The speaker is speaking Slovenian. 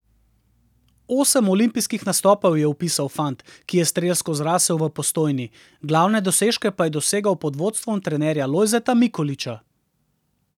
Osem olimpijskih nastopov je vpisal fant, ki je strelsko zrasel v Postojni, glavne dosežke pa je dosegal pod vodstvom trenerja Lojzeta Mikoliča.